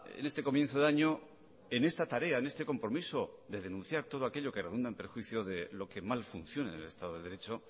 en este comienzo de año en esta tarea en este compromiso de denunciar todo aquello que redunda en perjuicio de lo que mal funcione en el estado de derecho